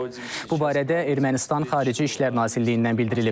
Bu barədə Ermənistan Xarici İşlər Nazirliyindən bildirilib.